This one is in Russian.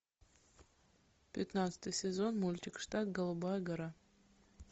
пятнадцатый сезон мультик штат голубая гора